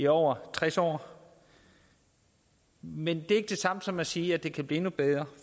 over tres år men det er ikke det samme som at sige at det ikke kan blive endnu bedre